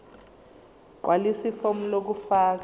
gqwalisa ifomu lokufaka